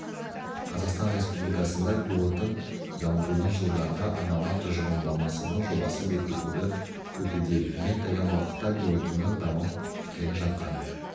қазақстан республикасында биоотын дамытудың жылдарға арналған тұжырымдамасының жобасы бекітуді күтуде ең таяу уақытта биоотынның дамып келе жатқан